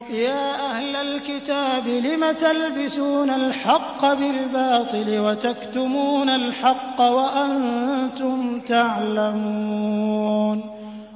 يَا أَهْلَ الْكِتَابِ لِمَ تَلْبِسُونَ الْحَقَّ بِالْبَاطِلِ وَتَكْتُمُونَ الْحَقَّ وَأَنتُمْ تَعْلَمُونَ